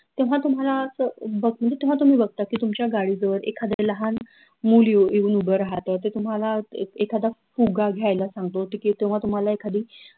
तेव्हा, तुम्हाला असं बघ म्हनजे तेव्हा तुम्ही बघता की तुमच्या गाडी जवळ एखाद लाहान मुलं येऊन उभं राहत ते तुम्हाला एखादा फुग्गा घ्यायला सांगतो किंव्हा तुम्हाला एखादी